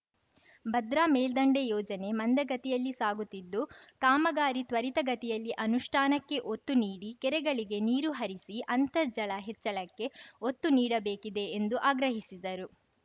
ಭದ್ರಾ ಮೇಲ್ದಂಡೆ ಯೋಜನೆ ಮಂದಗತಿಯಲ್ಲಿ ಸಾಗುತ್ತಿದ್ದು ಕಾಮಗಾರಿ ತ್ವರಿತಗತಿಯಲ್ಲಿ ಅನುಷ್ಠಾನಕ್ಕೆ ಒತ್ತು ನೀಡಿ ಕೆರೆಗಳಿಗೆ ನೀರು ಹರಿಸಿ ಅಂತರ್ಜಲ ಹೆಚ್ಚಳಕ್ಕೆ ಒತ್ತು ನೀಡಬೇಕಿದೆ ಎಂದು ಆಗ್ರಹಿಸಿದರು